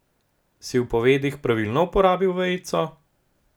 Si v povedih pravilno uporabil vejico?